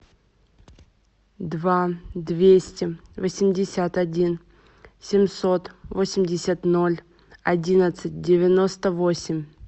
два двести восемьдесят один семьсот восемьдесят ноль одиннадцать девяносто восемь